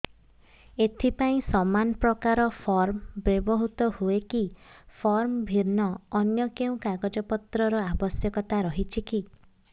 ଏଥିପାଇଁ ସମାନପ୍ରକାର ଫର୍ମ ବ୍ୟବହୃତ ହୂଏକି ଫର୍ମ ଭିନ୍ନ ଅନ୍ୟ କେଉଁ କାଗଜପତ୍ରର ଆବଶ୍ୟକତା ରହିଛିକି